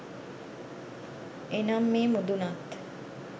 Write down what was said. එනම් මේ මුදුනත්